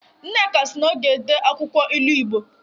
Nneka si na ọ ga-ede akwụkwọ ilu Igbo